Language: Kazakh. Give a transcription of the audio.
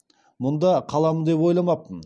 мұнда қаламын деп ойламаппын